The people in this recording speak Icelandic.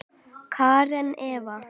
Karen Eva.